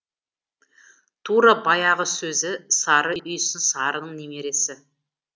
тура баяғы сөзі сары үйсін сарының немересі